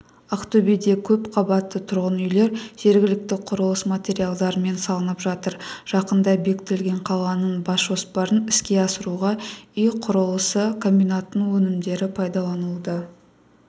ақтөбеде көпқабатты тұрғын үйлер жергілікті құрылыс материалдарымен салынып жатыр жақында бекітілген қаланың бас жоспарын іске асыруға үй құрылысы комбинатының өнімдері пайдаланылуда